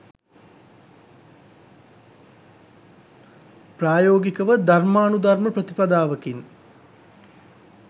ප්‍රායෝගිකව ධර්මානුධර්ම ප්‍රතිපදාවකින්